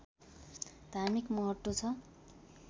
धार्मिक महत्त्व छ